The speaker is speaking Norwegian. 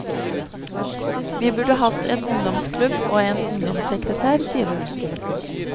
Vi burde hatt en ungdomsklubb og en ungdomssekretær, sier hun.